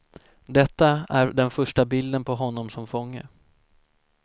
Detta är den första bilden på honom som fånge.